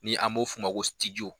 Ni an b'o f'o ma ko .